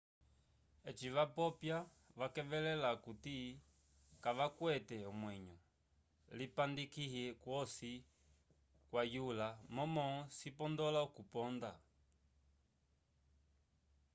eci vapopya vakevelela akuti kavakwete omwenyo lipandikihi kwosi kwayula momó cipondola okuponda